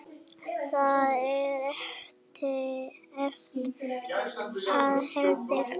Það er erfitt að alhæfa.